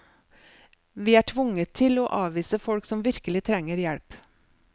Vi er tvunget til å avvise folk som virkelig trenger hjelp.